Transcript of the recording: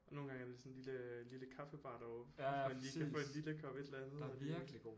Og nogle gange er det sådan en lille lille kaffebar deroppe hvor man lige kan få en lille kop et eller andet